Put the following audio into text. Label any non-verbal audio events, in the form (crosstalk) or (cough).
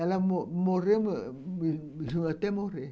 Ela mo mrreu, (unintelligible)